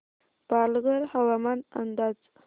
पालघर हवामान अंदाज